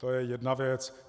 To je jedna věc.